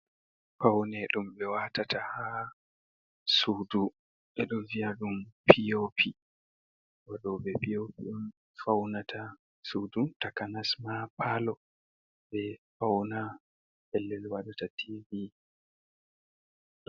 Pawne ɗum ɓe waatata haa suudu ɓe ɗo vi'a ɗum POP, waɗooɓe POP on fawnata suudu takanas ma paalo, ɓe fawna pellel wadata tiivi.